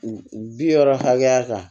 U bi wɔɔrɔ hakɛya kan